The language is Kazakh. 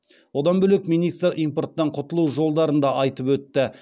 одан бөлек министр импорттан құтылу жолдарын да айтып өтті